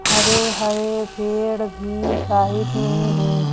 हरे हरे पेड़ भी साइड में हैं।